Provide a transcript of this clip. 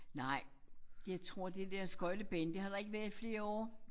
Nej jeg tror det der skøjtebane det har der ikke været i flere år